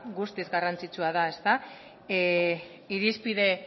guztiz garrantzitsua da ezta irizpide